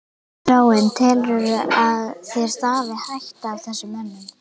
Þráinn: Telurðu að þér stafi hætta af þessum mönnum?